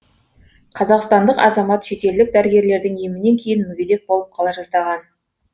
қазақстандық азамат шетелдік дәрігерлердің емінен кейін мүгедек болып қала жаздаған